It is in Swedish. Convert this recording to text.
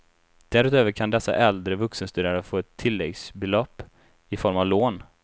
Därutöver kan dessa äldre vuxenstuderande få ett tilläggsbelopp i form av lån.